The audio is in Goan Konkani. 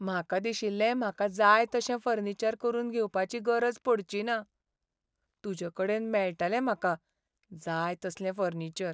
म्हाका दिशिल्लें म्हाका जाय तशें फर्निचर करून घेवपाची गरज पडचिना. तुजेकडेन मेळटलें म्हाका जाय तसलें फर्निचर.